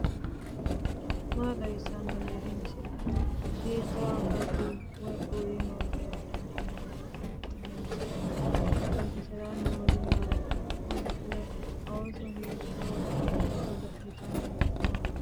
maa xawissanno aliidi misile ? hiitto akati woy kuuli noose yaa dandiinanni tenne misilera? qooxeessisera noori maati ? godo'le ooso hiitto ikkite godo'litanni nooikka